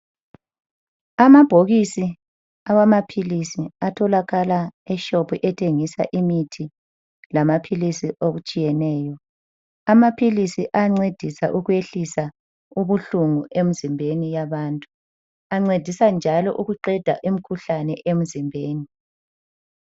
Amabhokisi awamaphilisi atholakala eshopu ethengisa imithi lamaphilisi okutshiyeneyo. Amaphilisi ayancedisa ukwehlisa ubuhlungu emzimbeni yabantu, ancedisa njalo ukwehlisa imkhuhlane emzimbeni.